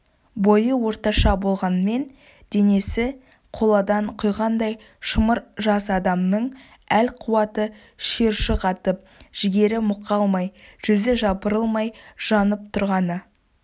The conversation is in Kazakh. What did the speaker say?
бойы орташа болғанмен денесі қоладан құйғандай шымыр жас адамның әл-қуаты шиыршық атып жігері мұқалмай жүзі жапырылмай жанып тұрғаны